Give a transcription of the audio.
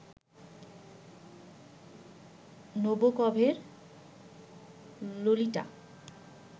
নবোকভের Lolita